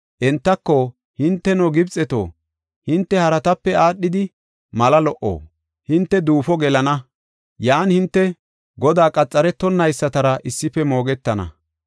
Entako, ‘Hinteno Gibxeto, hinte haratape aadhidi mala lo77o? Hinte duufo gelana; yan hinte Godaa qaxaretonaysatara issife moogetana.’